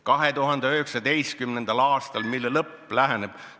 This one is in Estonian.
2019. aastal, mille lõpp läheneb ...